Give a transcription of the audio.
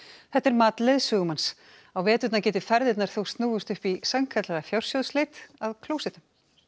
þetta er mat leiðsögumanns á veturna geti ferðirnar þó snúist upp í sannkallaða fjársjóðsleit að klósettum